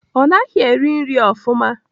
Ọ naghị eri nri ofụma.